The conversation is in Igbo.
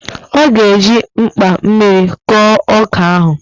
Ọ ga-eji mgba mmiri kọọ ọka ahụ